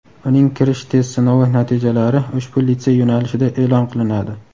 uning kirish test sinovi natijalari ushbu litsey yo‘nalishida e’lon qilinadi.